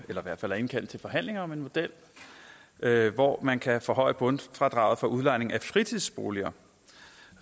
eller i hvert fald indkaldt til forhandlinger om en model hvor man kan forhøje bundfradraget for udlejning af fritidsboliger